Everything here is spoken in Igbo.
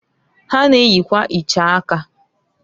Ha na-eyikwa iche aka.